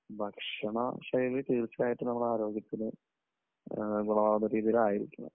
ഭക്ഷണശൈലി തീർച്ചയായിട്ടും നമ്മുടെ ആരോഗ്യത്തിന് ഗുണം ആവുന്ന രീതിയിൽ ആയിരിക്കണം.